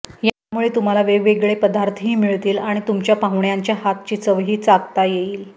यामुळे तुम्हाला वेगवेगळे पदार्थही मिळतील आणि तुमच्या पाहुण्यांच्या हातची चवही चाखता येईल